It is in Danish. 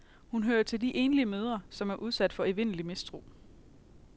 Hun hører til de enlige mødre, som er udsat for evindelig mistro.